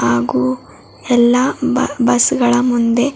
ಹಾಗು ಎಲ್ಲಾ ಬಾ ಬಸ್ ಗಳ ಮುಂದೆ--